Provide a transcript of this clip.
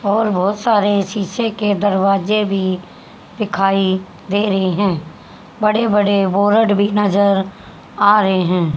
और बहोत सारे शीशे के दरवाजे भी दिखाई दे रहे हैं बड़े बड़े बोरड भी नजर आ रहे हैं।